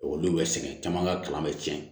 Olu bɛ sɛgɛn caman ka kalan bɛ tiɲɛ